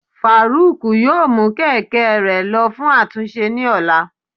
faruq yóò mu kẹkẹ rẹ lọ fun atúnse ni òlá.